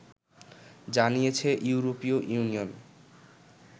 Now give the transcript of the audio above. জানিয়েছে ইউরোপীয় ইউনিয়ন